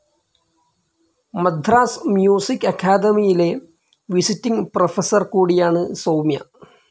Madras music അക്കാദമിയിലെ visiting professor കൂടിയാണ് സൗമ്യ.